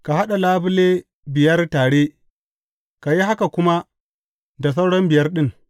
Ka haɗa labule biyar tare, ka yi haka kuma da suran biyar ɗin.